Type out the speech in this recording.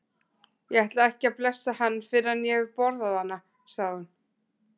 Ég ætla ekki að blessa hann fyrr en ég hef borðað hana, sagði hún.